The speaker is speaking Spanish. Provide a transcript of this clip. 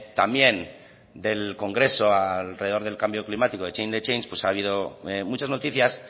también del congreso alrededor del cambio climático de change the change pues ha habido muchas noticias